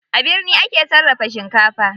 A birni ake sarrafa shinkafa.